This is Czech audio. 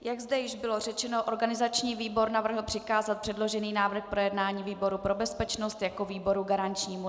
Jak zde již bylo řečeno, organizační výbor navrhl přikázat předložený návrh k projednání výboru pro bezpečnost jako výboru garančnímu.